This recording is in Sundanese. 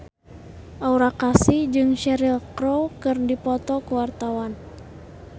Aura Kasih jeung Cheryl Crow keur dipoto ku wartawan